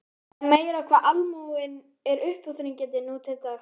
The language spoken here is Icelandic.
Það er meira hvað almúginn er uppáþrengjandi nú til dags.